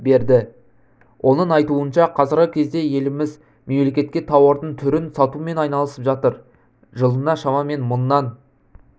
берді оның айтуынша қазіргі кезде еліміз мемлекетке тауардың түрін сатумен айналысып жатыр жылына шамамен мыңнан